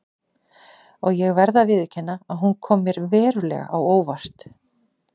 Og ég verð að viðurkenna að hún kom mér verulega á óvart.